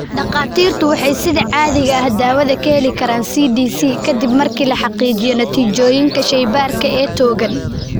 Dhakhaatiirtu waxay sida caadiga ah dawada ka heli karaan CDC ka dib markii la xaqiijiyo natiijooyinka shaybaarka ee togan.